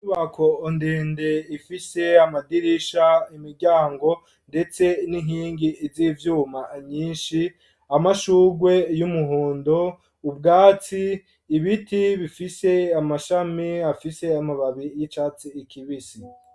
Inyubako ndende ifise amadirisha ,imiryango ,ndetse n'inkingi z'ivyuma nyinshi ,amashugwe y'umuhondo ,ubwatsi, ibiti bifise amashami afise amababi y'icatsi kibisi.